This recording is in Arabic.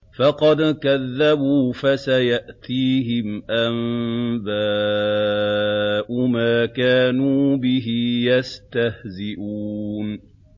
فَقَدْ كَذَّبُوا فَسَيَأْتِيهِمْ أَنبَاءُ مَا كَانُوا بِهِ يَسْتَهْزِئُونَ